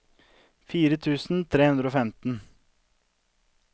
fire tusen tre hundre og femten